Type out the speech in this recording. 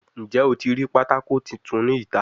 Njẹ o ti rii patako tuntun ni ita?